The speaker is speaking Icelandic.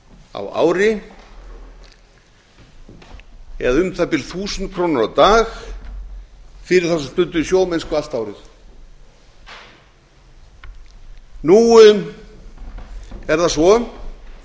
á ári eða um það bil þúsund krónur á dag fyrir þá sem stunduðu sjómennsku allt árið nú er það svo